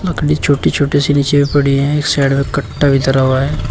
लकड़ी छोटी छोटी सी नीचे भी पड़ी है। इस साइड में कट्टा भी धरा हुआ है।